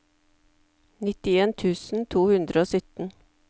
nittien tusen to hundre og sytten